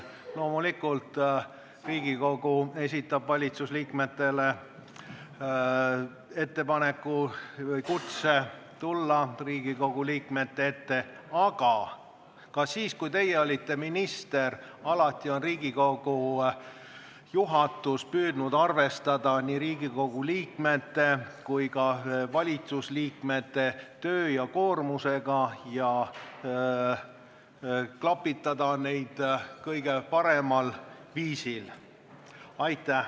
Loomulikult esitab Riigikogu valitsusliikmetele ettepaneku või kutse tulla Riigikogu liikmete ette, aga alati – ka siis, kui teie olite minister – on Riigikogu juhatus püüdnud arvestada nii Riigikogu liikmete kui ka valitsusliikmete töökoormust ja klapitada neid kõige paremal viisil.